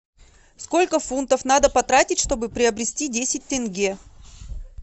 сколько фунтов надо потратить чтобы приобрести десять тенге